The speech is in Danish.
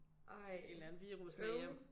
Ej øv